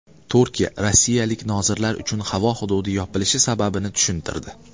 Turkiya rossiyalik nozirlar uchun havo hududi yopilishi sababini tushuntirdi.